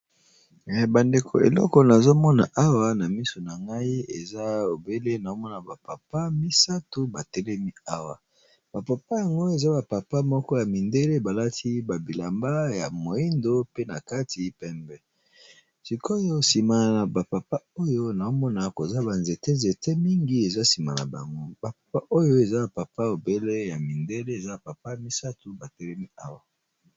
Bandeko eleko nazomona awa na miso na ngai eza obele naomona bapapa misato batelemi awa bapapa yango eza bapapa moko ya mindele balati babilamba ya moindo pe na kati pembe sikoyo simaa na bapapa oyo naomona koza banzete nzete mingi eza sima na bango bapapa oyo eza papa obele ya mindele eza papa misato batelemi awa.